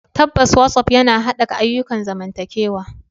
Tabbas, WhatsApp yana haɓaka ayyukan zamantakewa.